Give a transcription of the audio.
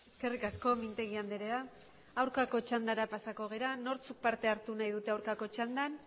eskerrik asko mintegi andrea aurkako txandara pasako gara nortzuk parte hartu nahi dute aurkako txandan